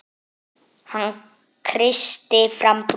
Hann kreisti fram bros.